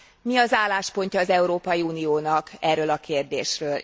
Mi az álláspontja az Európai Uniónak erről a kérdésről?